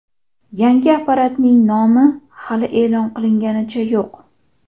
Yangi apparatning nomi hali e’lon qilinganicha yo‘q.